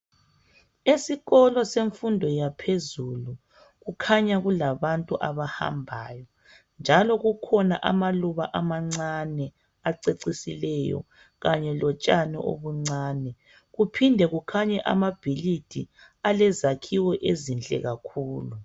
Esikolo semfundo yaphezulu kukhanya kulabantu abahambayo, njalo kukhona amaluba amancane acecisileyo kanye lotshani obuncane, kuphinde kukhanye amabhilidi alezakhiwo ezinhle kakhulu.